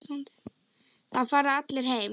Þá fara allir heim.